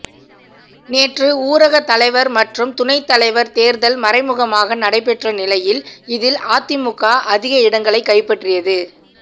நேற்று ஊரக தலைவர் மற்றும் துணைத்தலைவர் தேர்தல் மறைமுகமாக நடைபெற்ற நிலையில் இதில் அதிமுக அதிக இடங்களை கைப்பற்றியது